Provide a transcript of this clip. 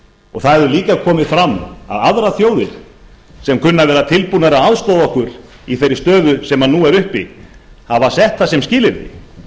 það hefur líka komið fram að aðrar þjóðir sem kunna að vera tilbúnar að aðstoða okkur í þeirri stöðu sem núna er uppi hafa sett það sem skilyrði